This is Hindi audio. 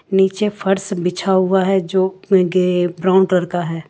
नीचे फर्श बिछा हुआ है जो गे ब्राउन कलर का है।